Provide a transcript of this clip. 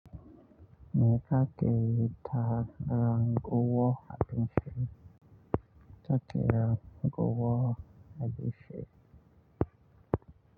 Me kakeyi ta ranguwar abinci? Kake ranguwar abinci?